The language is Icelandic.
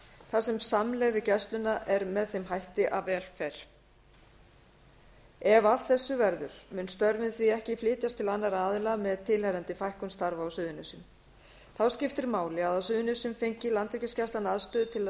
þar sem samlegð við gæsluna er með þeim hætti að vel fer saman ef af þessu verður munu störfin því ekki flytjast til annarra aðila með tilheyrandi fækkun starfa í reykjanesbæ þá skiptir máli að á suðurnesjum fengi landhelgisgæslan aðstöðu til að